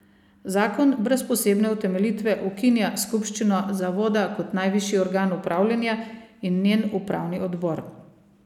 Zakon brez posebne utemeljitve ukinja skupščino Zavoda kot najvišji organ upravljanja in njen upravni odbor.